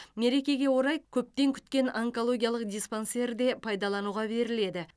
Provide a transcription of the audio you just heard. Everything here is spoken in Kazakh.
мерекеге орай көптен күткен онкологиялық диспансер де пайдалануға беріледі